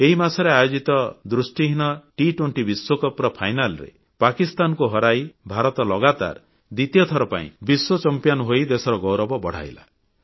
ଏହି ମାସରେ ଆୟୋଜିତ ଦୃଷ୍ଟିହୀନ Under20 ବିଶ୍ୱକପ କ୍ରିକେଟ ଫାଇନାଲରେ ପାକିସ୍ତାନକୁ ହରାଇ ଭାରତ ଲଗାତାର ଦ୍ବିତୀୟ ଥର ବିଶ୍ୱ ଚମ୍ପିଆନ ହୋଇ ଦେଶର ଗୌରବ ବଢ଼ାଇଲା